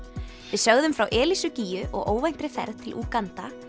við sögðum frá gígju og óvæntri ferð til Úganda